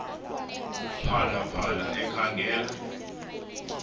phala phala ekhangela